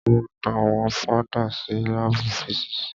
A ma dá wọn padà sí lábù físìsì.